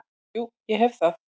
Jú, ég hef það.